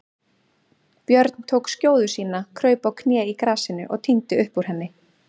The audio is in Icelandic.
Björn tók skjóðu sína, kraup á kné í grasinu og tíndi upp úr henni.